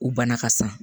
U bana ka sa